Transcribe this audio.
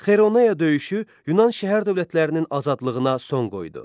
Kaironeya döyüşü Yunan şəhər dövlətlərinin azadlığına son qoydu.